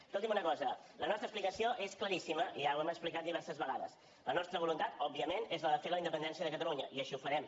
escolti’m una cosa la nostra explicació és claríssima ja ho hem explicat diverses vegades la nostra voluntat òbviament és la de fer la independència de catalunya i així ho farem